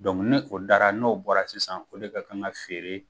ni o dara, n'o bɔra sisan o de ka kan ka feere